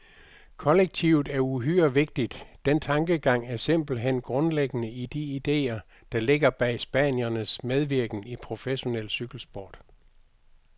Kollektivet er uhyre vigtigt, den tankegang er simpelthen grundlæggende i de idéer, der ligger bag spaniernes medvirken i professionel cykelsport.